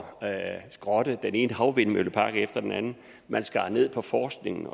at skrotte den ene havvindmøllepark efter den anden man skar ned på forskningen